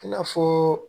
I n'a fɔ